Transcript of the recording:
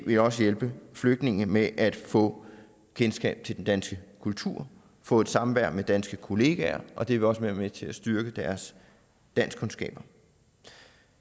vil også hjælpe flygtninge med at få kendskab til den danske kultur få et samvær med danske kollegaer og det vil også være med til at styrke deres danskkundskaber